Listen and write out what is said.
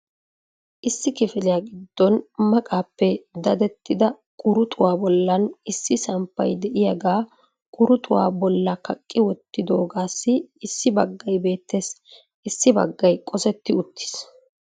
Issi kifiliyaa giddon maqqappe dadettida quruxxuwa bollan issi samppay de'iyaaga quruxxuwaa bolla kaqqi wottidoogassi issi baggay beettes. Issi baggay qosetti uttiis.